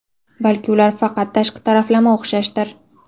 Balki ular faqat tashqi taraflama o‘xshashdir?